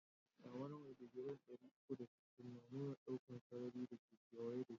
Kyamara mai digri'n dari uku da sitin na nuna dukan sarari da ke keweye da shi.